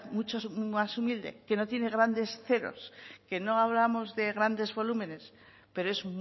más humilde que no tiene grandes ceros que no hablamos de grandes volúmenes pero es